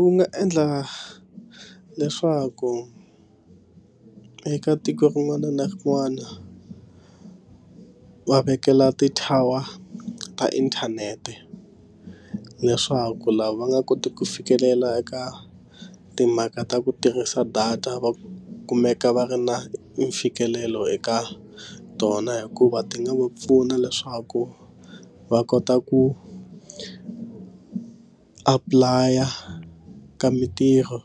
Wu nga endla leswaku eka tiko rin'wana na rin'wana va vekela ti tower ta inthanete leswaku lava va nga koti ku fikelela eka timhaka ta ku tirhisa data va kumeka va ri na mfikelelo eka tona hikuva ti nga va pfuna leswaku va kota ku apply a ka mitirho